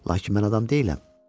Lakin mən adam deyiləm.